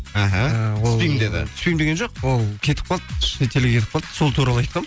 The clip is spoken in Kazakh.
іхі түспеймін деді түспеймін деген жоқ ол кетіп қалды шетелге кетіп қалды сол туралы айтқанмын